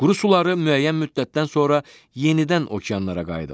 Quru suları müəyyən müddətdən sonra yenidən okeanlara qayıdır.